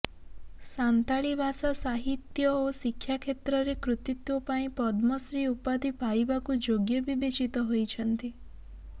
ସାନ୍ତାଳୀ ଭାଷା ସାହିତ୍ୟ ଓ ଶିକ୍ଷା କ୍ଷେତ୍ରରେ କୃତିତ୍ୱ ପାଇଁ ପଦ୍ମଶ୍ରୀ ଉପାଧି ପାଇବାକୁ ଯୋଗ୍ୟ ବିବେଚିତ ହୋଇଛନ୍ତି